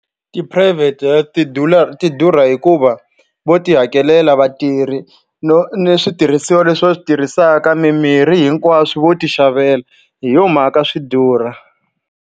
Tiphurayivhete ti durha hikuva vo tihakelela vatirhi no ni switirhisiwa leswi va swi tirhisaka mimirhi hinkwaswo vo tixavela hi yo mhaka swi durha.